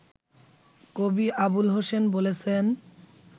কবি আবুল হোসেন বলেছেন